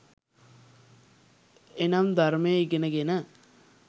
එනම් ධර්මය ඉගෙන ගෙන